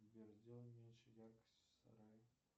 сбер сделай меньше яркость в сарае